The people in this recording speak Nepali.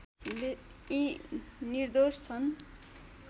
यी निर्दोष छन्